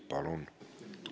Palun!